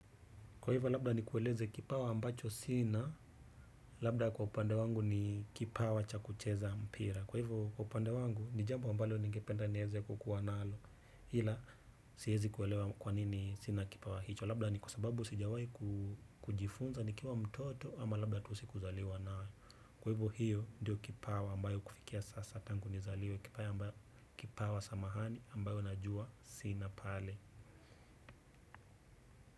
Kwa hivyo labda nikueleze kipawa ambacho sina, labda kwa upande wangu ni kipawa cha kucheza mpira. Kwa hivyo kwa upande wangu ni jambo ambalo ningependa niweze kukuwa nalo ila siwezi kuelewa kwa nini sina kipawa hicho. Labda ni kwa sababu sijawahi kujifunza nikiwa mtoto ama labda tu sikuzaliwa nayo. Kwa hivyo hiyo ndio kipawa ambayo kufikia sasa tangu nizaliwe kipawa samahani ambayo najua sina pale.